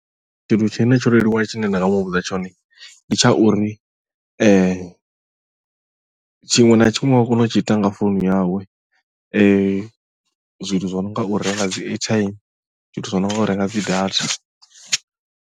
Tshithu tshine tsho leluwa tshine nda nga muvhudza tshone ndi tsha uri tshiṅwe na tshiṅwe wa kona u tshi ita nga founu yawe zwithu zwi no nga u renga dzi airtime zwithu zwi no nga u renga dzi data.